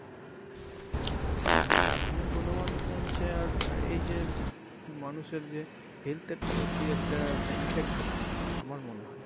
হ্যা গুনমান কমছে আর আহ এই যে মানুষের যে health এর প্রতি একটা effect হচ্ছে আমার মনে হয়।